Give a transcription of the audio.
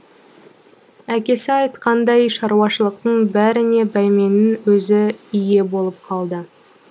әкесі айтқандай шаруашылықтың бәріне бәйменнің өзі ие болып қалды